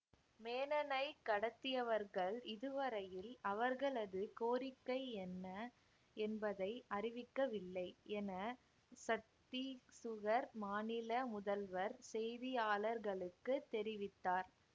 மேனனைக் கடத்தியவர்கள் இதுவரையில் அவர்களது கோரிக்கை என்ன என்பதை அறிவிக்கவில்லை என சத்தீசுகர் மாநில முதல்வர் செய்தியாளர்களுக்குத் தெரிவித்தார்